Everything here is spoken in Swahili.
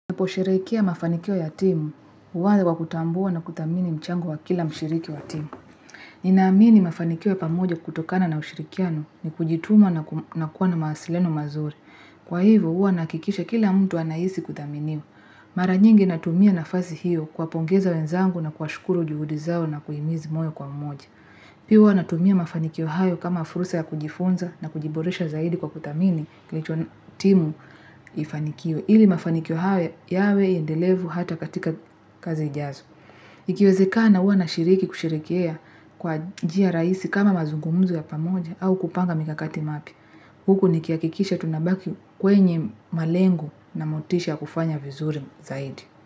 Naposherehekea mafanikio ya timu, huanza kwa kutambua na kudhamini mchango wa kila mshiriki wa timu. Ninaamini mafanikio ya pamoja kutokana na ushirikiano ni kujituma na kuwa na mawasiliano mazuri. Kwa hivo, huwa nahakikisha kila mtu anahisi kudhaminiwa. Mara nyingi natumia nafasi hiyo kuwapongeza wenzangu na kuwashukuru juhudi zao na kuhimiza moja kwa mmoja. Pia natumia mafanikio hayo kama fursa ya kujifunza na kujiboresha zaidi kwa kudhamini timu ifanikwe. Ili mafanikio haya yawe endelevu hata katika kazi ijazo Ikiwezekana huwa nashiriki kusherehekea kwa njia rahisi kama mazungumzo ya pamoja au kupanga mikakati mipya Huku nikihakikisha tunabaki kwenye malengo na motisha ya kufanya vizuri zaidi.